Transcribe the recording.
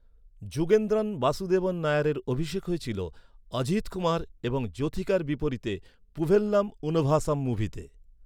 যুগেন্দ্রন বাসুদেবন নায়ারের অভিষেক হয়েছিল অজিথ কুমার এবং জ্যোথিকার বিপরীতে পুভেল্লাম উন ভাসাম মুভিতে।